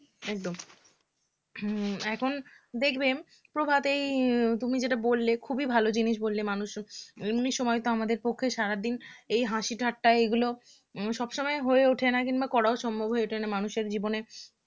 হম এখন দেখবে প্রভাতেই তুমি যেটা বললে খুব ভাল জিনিস বললে মানুষ এমনি সময় তো আমাদের পক্ষে সারাদিন এই হাসি ঠাট্টা এগুলো সব সময় হয়ে ওঠে না কিংবা করাও সম্ভব হয়ে ওঠে না মানুষের জীবনে